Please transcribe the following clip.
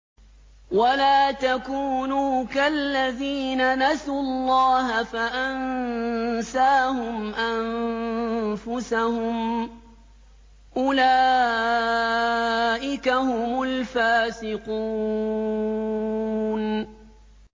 وَلَا تَكُونُوا كَالَّذِينَ نَسُوا اللَّهَ فَأَنسَاهُمْ أَنفُسَهُمْ ۚ أُولَٰئِكَ هُمُ الْفَاسِقُونَ